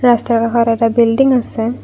ৰাস্তাৰ কাষত এটা বিল্ডিং আছে।